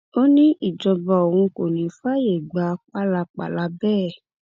ó ní ìjọba òun kò ní í fààyè gbà pálapàla bẹẹ